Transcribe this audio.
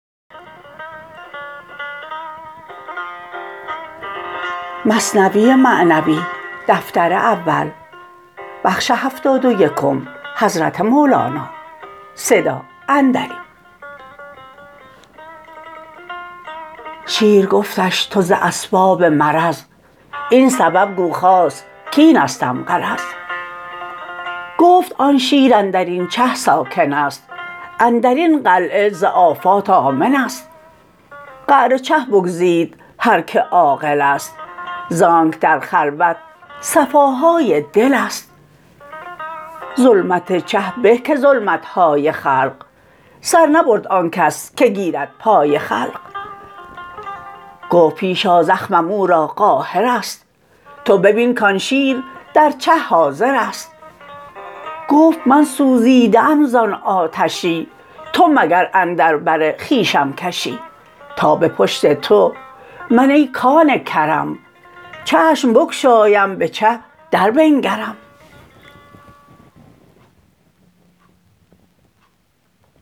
شیر گفتش تو ز اسباب مرض این سبب گو خاص کاینستم غرض گفت آن شیر اندرین چه ساکنست اندرین قلعه ز آفات آمنست قعر چه بگزید هر که عاقلست زانک در خلوت صفاهای دلست ظلمت چه به که ظلمتهای خلق سر نبرد آنکس که گیرد پای خلق گفت پیش آ زخمم او را قاهرست تو ببین کان شیر در چه حاضرست گفت من سوزیده ام زان آتشی تو مگر اندر بر خویشم کشی تا به پشت تو من ای کان کرم چشم بگشایم بچه در بنگرم